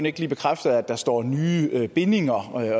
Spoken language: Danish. ikke lige bekræfte at der står nye bindinger